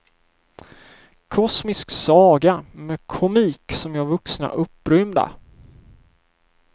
Kosmisk saga med komik som gör vuxna upprymda.